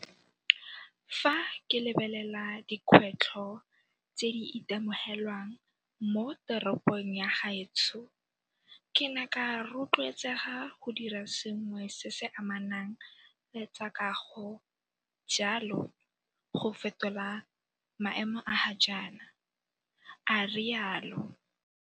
Fa ke lebelela dikgwetlho tse di itemogelwang mo teropong ya gaetsho, ke ne ka rotloetsega go dira sengwe se se amanang le tsa kago jalo go fetola maemo a ga jaana, a rialo.